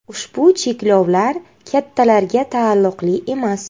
Ushbu cheklovlar kattalarga taalluqli emas.